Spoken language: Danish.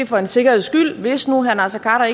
for en sikkerheds skyld altså hvis nu herre naser khader